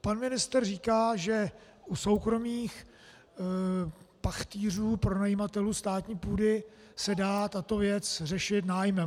Pan ministr říká, že u soukromých pachtýřů, pronajímatelů státní půdy, se dá tato věc řešit nájmem.